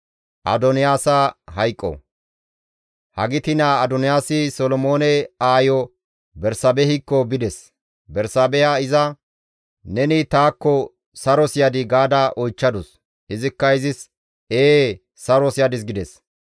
Hagiti naa Adoniyaasi Solomoone aayo Bersaabehikko bides; Bersaabeha iza, «Neni taakko saros yadii?» gaada oychchadus. Izikka izis, «Ee; saros yadis» gides.